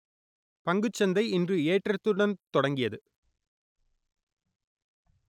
பங்குச்சந்தை இன்று ஏற்றத்துடன் தொடங்கியது